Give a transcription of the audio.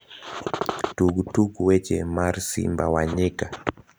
tug tuk weche mar simba wa nyika